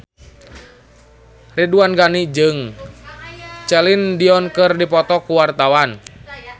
Ridwan Ghani jeung Celine Dion keur dipoto ku wartawan